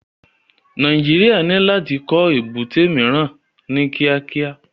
Nàìjíríà ní láti kọ́ èbúté omiran ní kíákíá